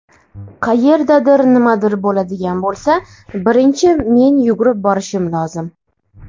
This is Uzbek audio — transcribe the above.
Qayerdadir nimadir bo‘ladigan bo‘lsa, birinchi men yugurib borishim lozim.